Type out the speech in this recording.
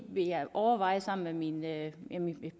vil jeg overveje sammen med mine